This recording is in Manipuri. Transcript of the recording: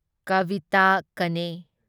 ꯀꯥꯚꯤꯇꯥ ꯀꯅꯦ